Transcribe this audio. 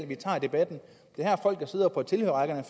vi tager debatten det er her folk sidder på tilhørerrækkerne og